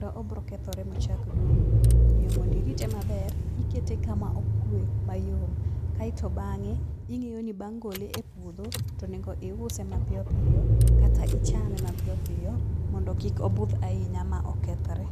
to obiro kethore ma ochak dung'. Omiyo mondo irite maber, ikete kama okwe mayom. Kaeto bang'e ing'iyo ni bang' gole epuodho, to onego iuse mapiyo piyo kata ichame mapiyp piyo mondo kik obudh ahinya ma okethre.